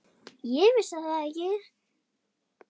Ég vissi það ekki.